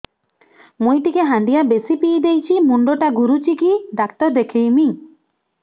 ମୁଇ ଟିକେ ହାଣ୍ଡିଆ ବେଶି ପିଇ ଦେଇଛି ମୁଣ୍ଡ ଟା ଘୁରୁଚି କି ଡାକ୍ତର ଦେଖେଇମି